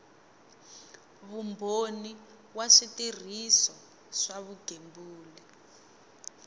vumbhoni wa switirhiso swa vugembuli